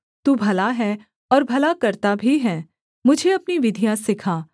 तू भला है और भला करता भी है मुझे अपनी विधियाँ सिखा